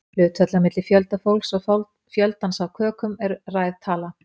Hlutfallið á milli fjölda fólks og fjöldans af kökum er ræð tala.